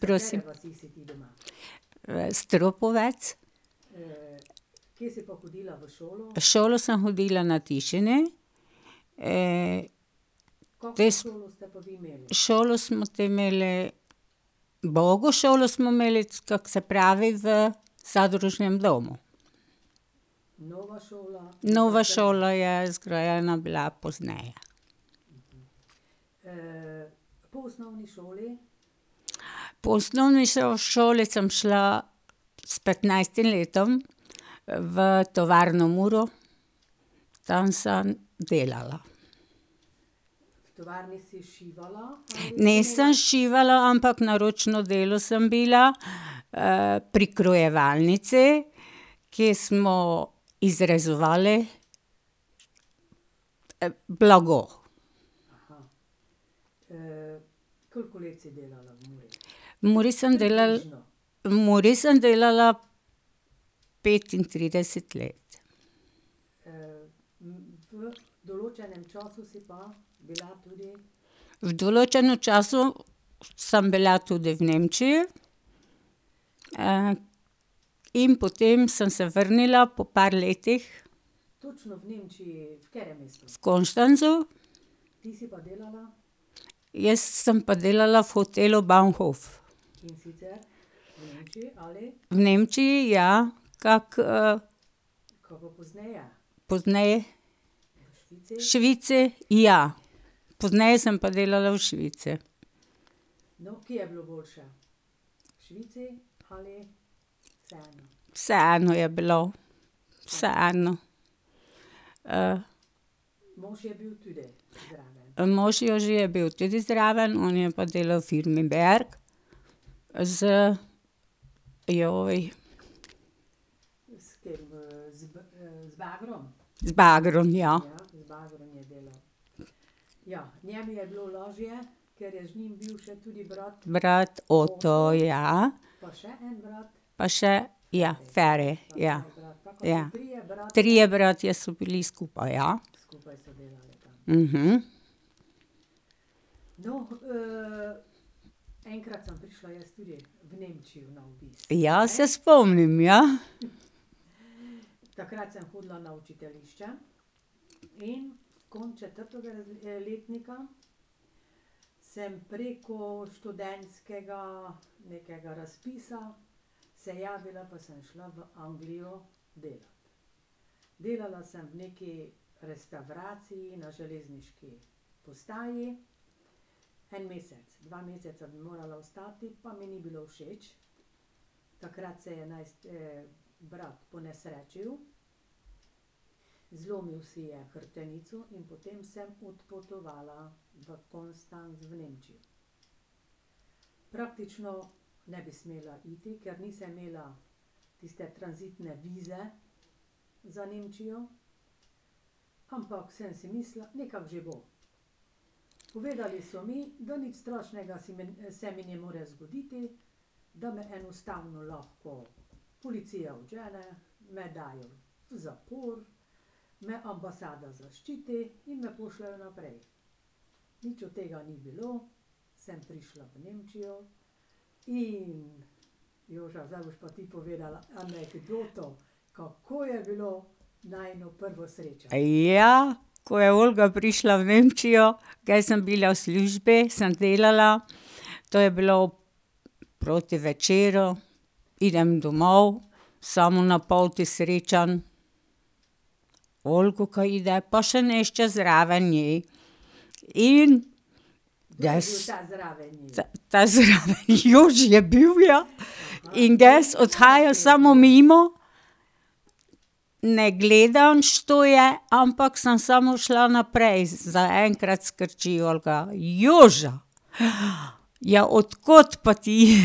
Prosim? Vas Tropovci. V šolo sem hodila na Tišine. te ... Šolo smo te imeli, ubogo šolo smo imeli, kako se pravi, v zadružnem domu. Nova šola je zgrajena bila pozneje. Po osnovni šoli sem šla, s petnajstim letom v tovarno Muro, tam sem delala. Ne, sem šivala, ampak na ročno delo sem bila, prikrojevalnici, ki smo izrezovali blago. V Muri sem ... V Muri sem delala petintrideset let. V določenem času sem bila tudi v Nemčiji, in potem sem se vrnila po par letih. V Konstanzu. Jaz sem pa delala v hotelu Baunhof. V Nemčiji, ja, kako ... Pozneje? Švici? Ja. Pozneje sem pa delala v Švici. Vseeno je bilo. Vseeno. ... Mož je že bil tudi zraven, on je pa delal v firmi Berg z, ... Z bagrom, ja. Brat Oto, ja. Pa še, ja, Feri, ja, ja. Trije bratje so bili skupaj, ja. Ja, se spomnim, ja. Ja, ko je Olga prišla v Nemčijo, kaj sem bila v službi, sem delala. To je bilo proti večeru. Idem domov, samo na poti srečam Olgo, ka ide pa še nešče zraven nje. In ... Ta zraven, Joži je bil, ja. In jaz odhajam samo mimo, ne gledam, što je, ampak sem samo šla naprej, zaenkrat skrči Olga: "Joža! ja od kod pa ti?" ...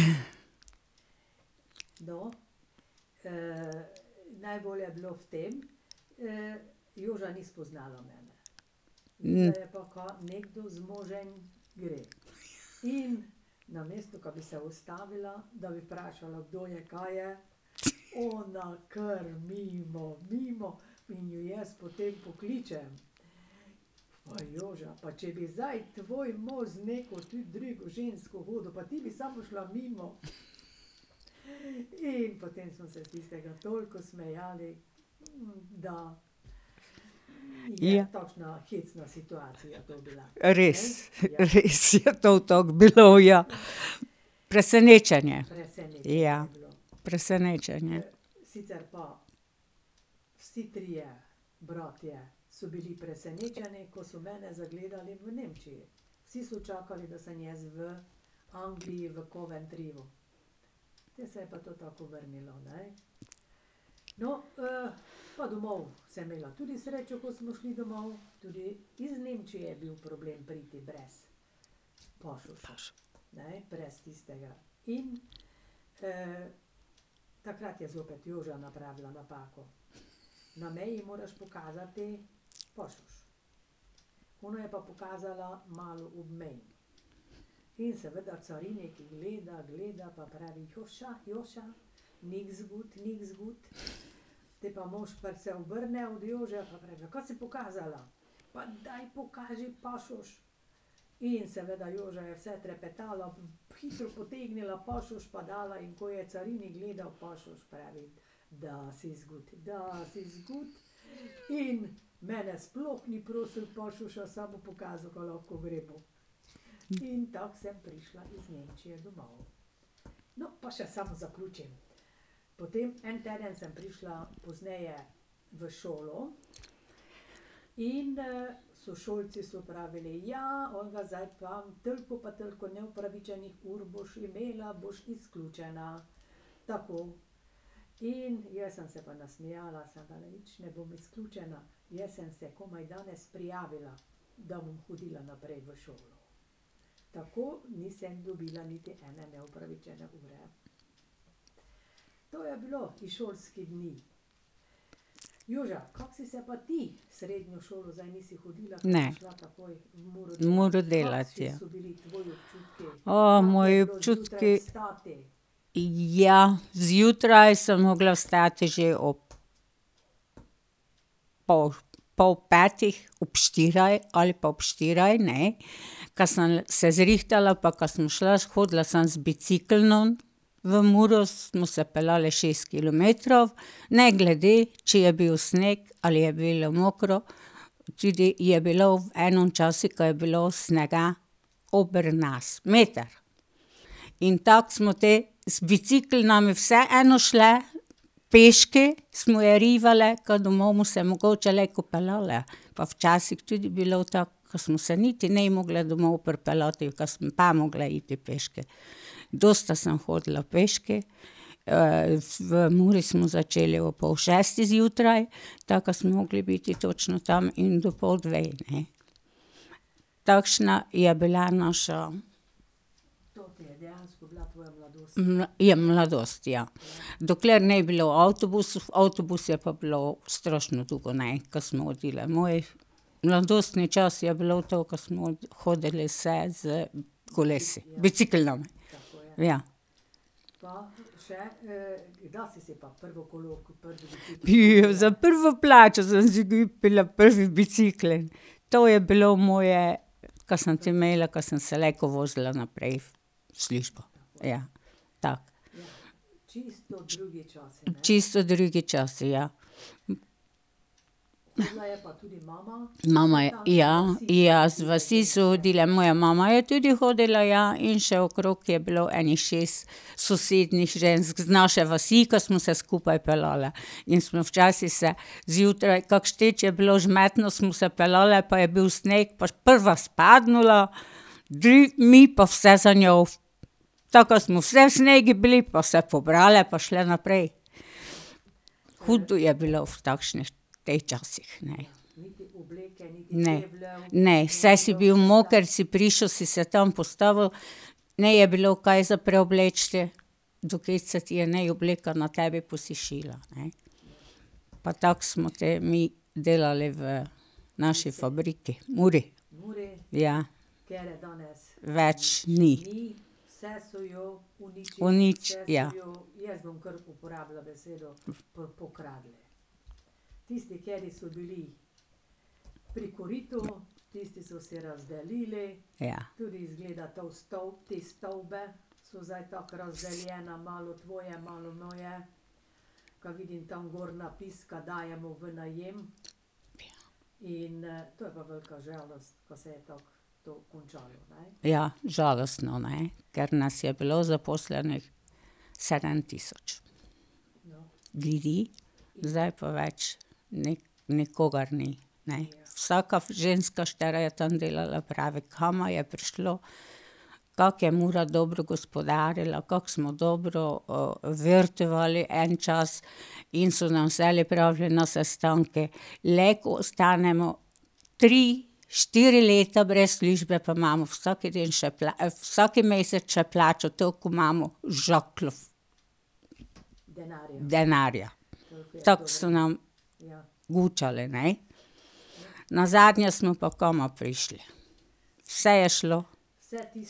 Ja. Res, res je to tako bilo, ja. Presenečenje, ja. Presenečenje. Ne. V Muro delati, ja. moji občutki ... Ja, zjutraj sem mogla vstati že ob pol, pol petih, ob štirih ali pa ob štirih, ne, ka sem se zrihtala pa ka sem šla, hodila sem z biciklom. V Muro smo se peljali šest kilometrov, ne glede, če je bil sneg ali je bilo mokro. Tudi je bilo v enim časi, ka je bilo snega ober nas, meter. In tako smo te z bicikli vseeno šle, peške smo jo rivale, ke domov mu se mogoče lejko peljali pa včasih tudi bilo tako, ko smo se niti ne mogle domov pripeljati, ke smo te mogle iti peške. Dosti sem hodila peške. v Muri smo začeli ob pol šestih zjutraj, takrat smo mogli biti točno tam in do pol dveh, ne. Takšna je bila naša ... ja, mladost, ja. Dokler ni bilo avtobusov, avtobus je pa bilo strašno dolgo, ne, ko smo hodile. Moj mladostni čas je bilo to, ko smo hodili vse s kolesi, bicikli. Ja. za prvo plačo sem si kupila prvi bicikel, to je bilo moje, ka sem te imela, ka sem se lejko vozila naprej v službo. Ja. Tako. Čisto drugi časi, ja. Mama, ja, ja, z vasi so hodile, moja mama je tudi hodila, ja, in še okrog je bilo ene šest sosednjih žensk z naše vasi, ke smo se skupaj peljale. In smo včasih se zjutraj, kako je bilo vžmetno, smo se peljale pa je bil sneg pa prva spadnila, mi pa vse za njo v ... Tako da smo vse v snegu bile pa se pobrale pa šle naprej. Hudo je bilo v takšnih, teh časih, ne. Ne. Ne, saj si bil moker, si prišel, si se tam postavil, ni bilo kaj za preobleči. Dokej se ti je ne obleka na tebi posušila, ne. Pa tako smo te mi delali v naši fabriki, Muri. Ja. Več ni. ja. Ja, žalostno, ne. Ker nas je bilo zaposlenih sedem tisoč. Zdaj pa več ni, nikogar ni, ne. Vsaka ženska, štera je tam delala, pravi, je prišlo. Kako je Mura dobro gospodarila, kako smo dobro vertuvali en čas in so nam vselej pravili že na sestanku: "Lejko ostanemo tri, štiri leta brez službe, pa imamo vsak dan, vsak mesec še plačo, toliko imamo v žakljih." Denarja. Tako so nam gučali, ne. Nazadnje smo pa kam prišli. Vse je šlo.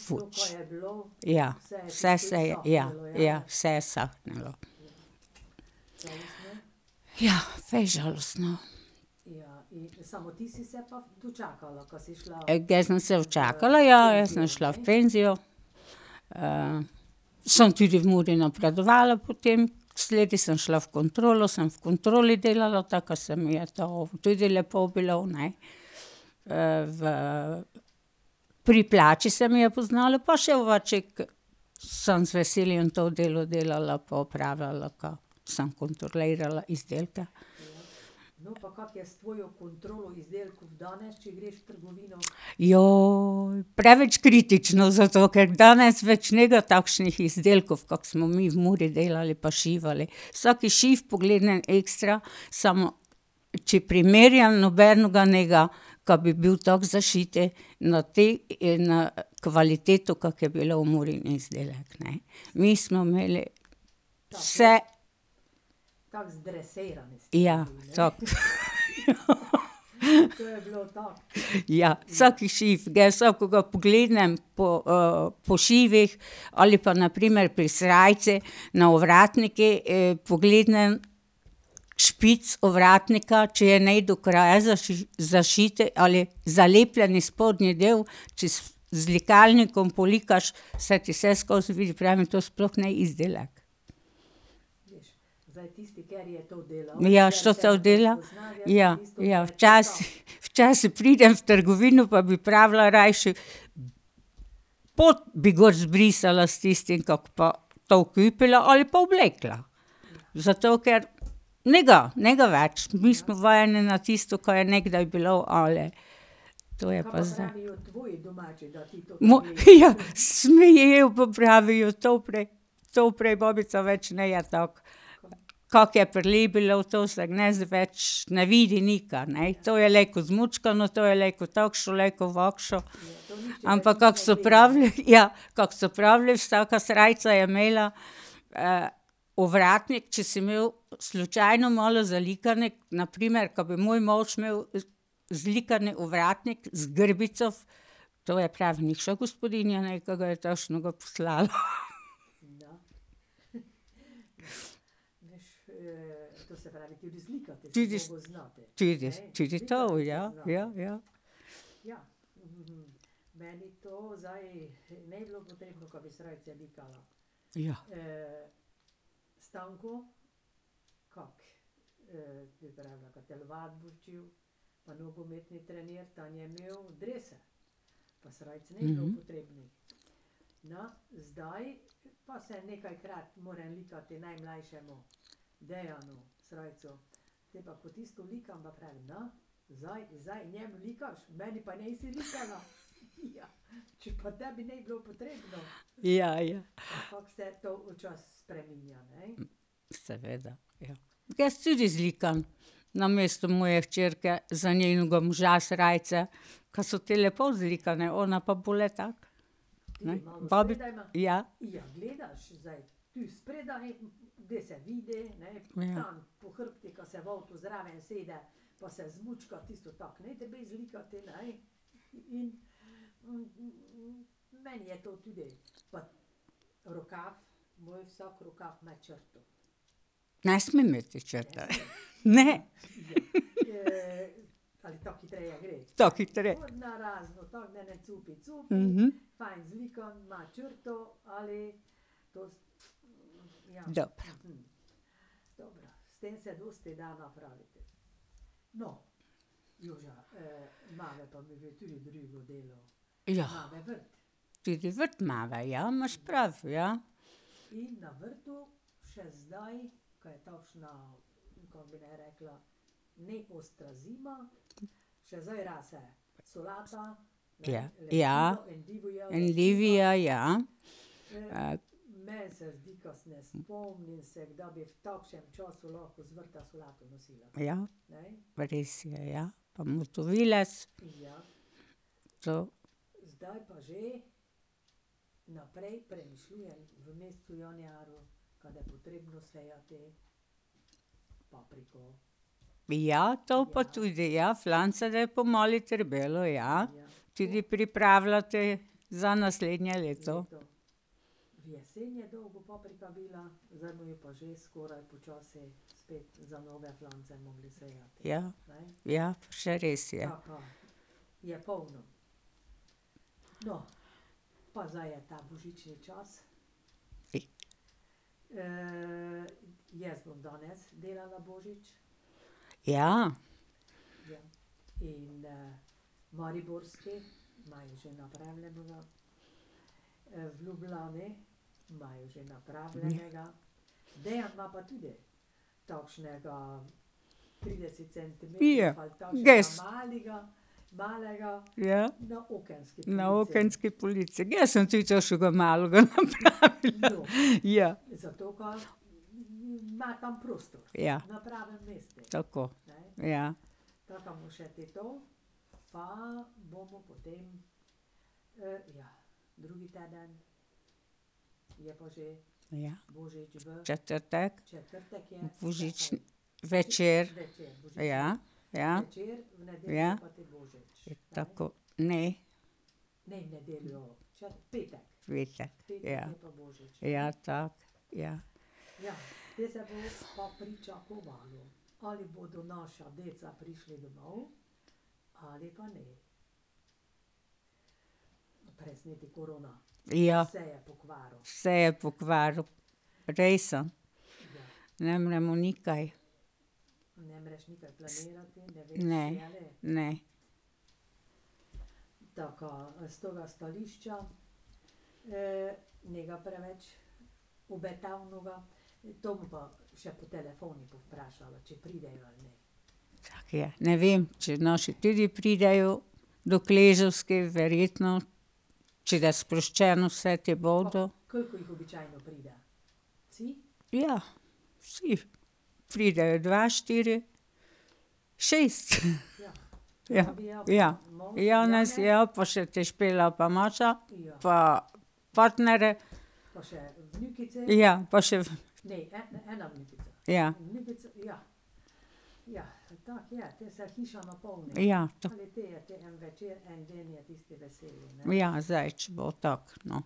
Fuč. Ja. Vse se je, ja, ja, vse je sahnilo. Ja, fejst žalostno. Ge sem se včakala, ja, jaz sem šla v penzijo. sem tudi v Muri napredovala potem, sledi sem šla v kontrolo, sem v kontroli delala, takrat se mi je to, tudi lepo bilo, ne. v ... Pri plači se mi je poznalo pa še ovačik, sem z veseljem to delo delala pa opravljala ga, sem kontrolirala izdelke. preveč kritično, zato ker danes več ne bodo takšnih izdelkov, kak smo mi v Muri delali pa šivali, vsak šiv pogledam ekstra, samo ... Če primerjam, ni nobenega, ka bi bil tako zašit na te na kvaliteto, kak je bil Murin izdelek, ne. Mi smo imeli vse ... Ja, tako. Ja, vsak šiv, ga vsakega pogledam po po šivih ali pa na primer pri srajci na ovratniku pogledam. Špic ovratnika, če je ne do kraja zašit ali zalepljen spodnji del, če z z likalnikom polikaš, se ti vseskozi vidi, pravim, to sploh ni izdelek. Ja, dela, ja, ja. ... Včasih pridem v trgovino pa bi pravila rajši, pot bi gor zbrisala s tistim, kak pa to kupila ali pa oblekla. Zato ker ni, ni več, mi smo vajeni na tisto, ka je nekdaj bilo, ali. To je pa ... ja, smejejo pa pravijo: "To pre, to pre babica več ni tako." Kak je prej bilo, to so danes več ne vidi nika, ne. To je lejko zmučaknu, tu je lejko takšno, lejko ovakše ... Ampak kak so pravili, ja, kak so pravili, vsaka srajca je imela ovratnik, če si imel slučajno malo zalikan, na primer, ka bi moj mož imel zlikan ovratnik z grbico, to je prav nikša gospodinja, ne, ke ga je takšnega poslala. Tudi ... Tudi, tudi to ja, ja, ja. Ja. Ja, ja. Jaz tudi zlikam namesto moje hčerke, za njenega moža srajce, kaj so tev lepo zlikane, ona pa bolj tako, ne. ja. Ne sme imeti črte, ne. Tako ... Dobro. Ja, tudi vrt imava, ja, imaš prav, ja. Ja, ja. Endivija, ja. Ja. Res je, ja, pa motovilec. To ... Ja, to pa tudi, ja, flancate , ja. Tudi pripravljati za naslednje leto. Ja, ja, pa še res je. Ja. Pije? Ges? Ja. Na okenski polici, jaz sem tudi tošuga malega napravila, ja. Ja. Tako, ja. Ja. Četrtek. Božični večer. Ja, ja. Ja. Tako, ne. V petek, ja. Ja, tako, ja. Ja. Vse je pokvaril, rejsan. Ne vem, ni mu nikaj. Ne, ne. Tako je. Ne vem, če naši tudi pridejo, verjetno, če de sproščeno vse, te bodo. Ja vsi pridejo, dva, štiri, šest. Ja, ja. Janez ja pa še te Špela pa Maša pa partnerji. Ja, pa še ... Ja. Ja. Ja, zdaj če bo tako, no.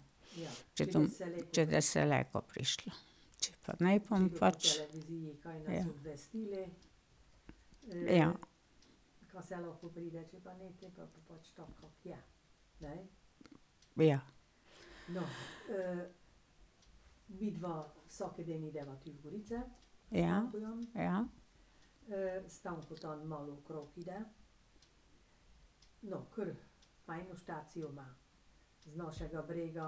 Če to ... Če de se lejko prišlo,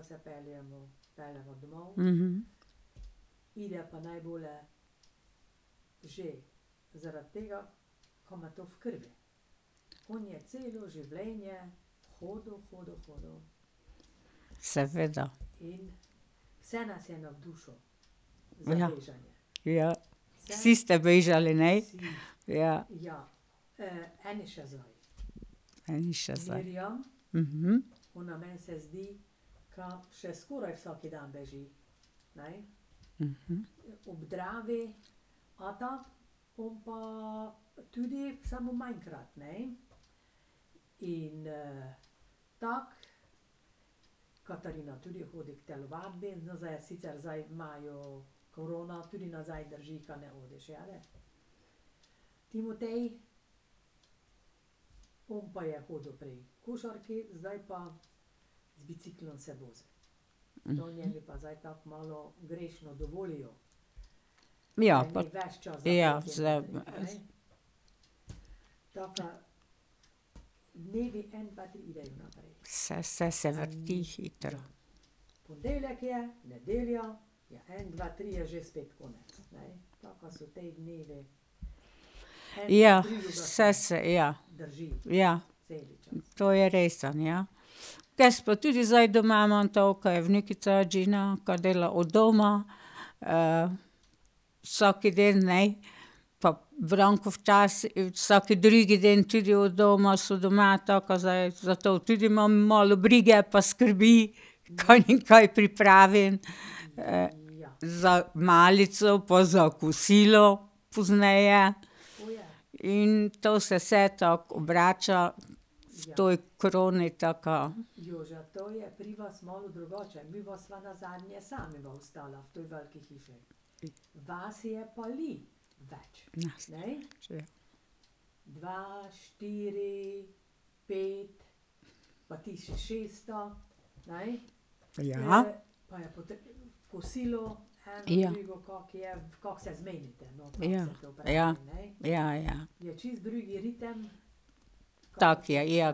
če pa ne, bom pač ... Ja. Ja. Ja. Ja, ja. Seveda. Ja, ja. Vsi ste bežali, ne? Ja. Eni še zdaj, Ja pa, ja . Vse se se vrti hitro. Ja, saj se, ja. Ja. To je res, ja. Jaz pa tudi zdaj doma imam to, ka je vnukica Džina, ka dela od doma, vsak dan, ej, pa Branko vsak drugi dan tudi od doma, so doma, tako ka zdaj, zato tudi imam malo brige pa skrbi, kaj jim kaj pripravim za malico pa za kosilo pozneje. In to se vse tako obrača v tej koroni taka. Ja. Ja. Ja, ja, ja, ja. Tako je, ja,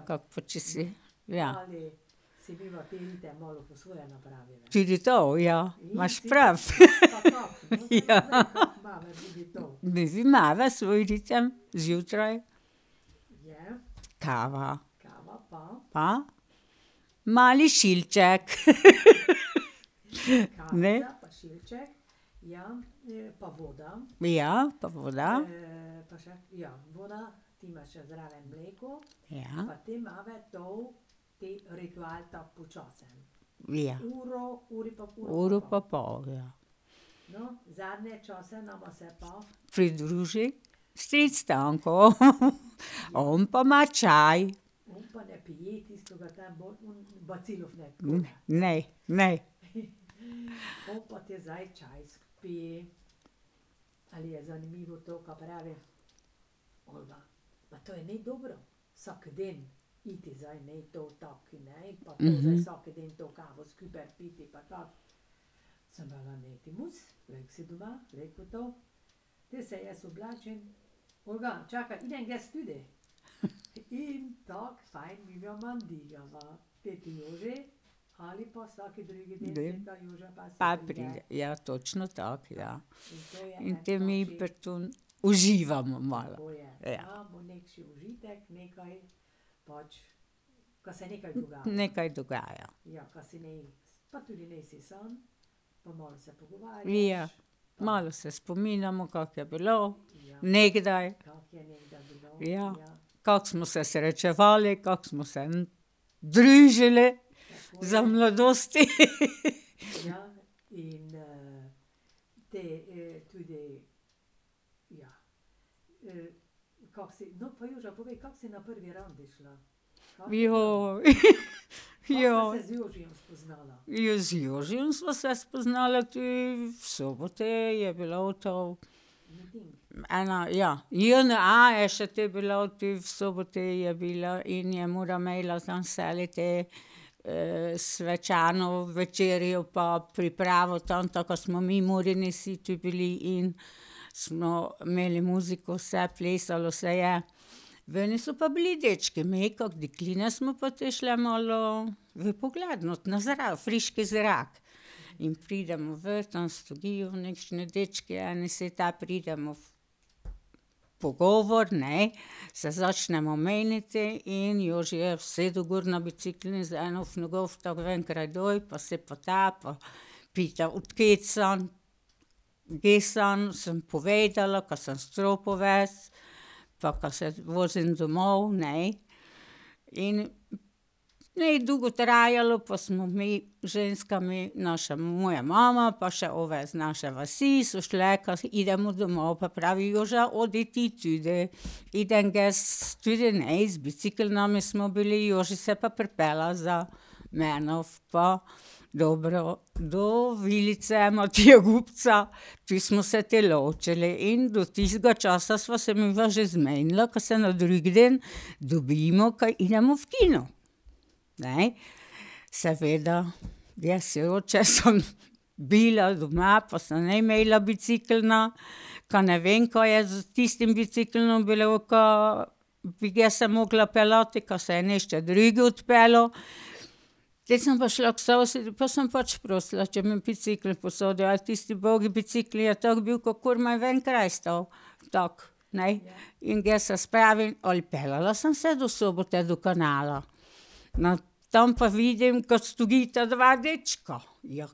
kako pa, če si, ja. Tudi to, ja, imaš prav. Midve imava svoj ritem zjutraj. Kava. Pa? Mali šilček. Ne? Ja, pa voda. Ja. Uro pa pol, ja. Pridruži stric Stanko. On pa ima čaj. Ne, ni, ni. Pa pride, ja, točno tako, ja. In potem mi pri tem uživamo malo, ja. Nekaj dogaja. Ja, malo se spominjamo, kako je bilo nekdaj. Ja. Kako smo se srečevali, kako smo se družili za mladosti. , Ja, z Jožijem sva se spoznala, tu v Soboti je bilo to. Ena, ja, jena je še te bila tu v Soboti, je bila in je seliti svečano večerjo pa pripravil tam, tam, ko smo mi Murini vsi tu bili in smo imeli muziko, vse, plesalo se je. Veni so pa bili dečki, me, kako dekline, smo pa te šle malo v pogled, no, na zrak, friški zrak. In pridemo ven, tam sedijo nekšni dečki, eni pridemo v pogovor, ne, se začnemo meniti in Joži je usedel gor na bicikel in z eno v nogo pa se pa ta pa pital, od kje sem, jaz sem, sem povedala, ka sem s Tropovec pa ka se vozim domov, ne. In ni dolgo trajalo pa smo mi z ženskami, naša, moja mama pa še ove z naše vasi, so šle, idemo domov, pa pravi Joža: "Odi ti tudi." Idem jaz tudi, ne, z biciklom in smo bili, Joži se je pa pripeljal za menoj pa dobro do vilice Matija Gubca. Ti smo se te ločili in do tistega časa sva se midva že zmenila, ka se na drug dan dobimo, ka idemo v kino, ne. Seveda jaz sem bila doma pa sem ne imela bicikla, ka ne vem kaj je s tistim biciklom bilo, ka bi jaz se mogla peljati, ka se je nešče drug odpeljal. Potem sem pa šla k sosedu pa sem pač prosila, če mi bicikel posodi, ali tisti ubogi bicikel je tak bil, ka komaj v en kraj stal. Tako, ne. In jaz se spravim, odpeljala sem se do Sobote do kanala. No, tam pa vidim, ke stojita dva dečka. Ja,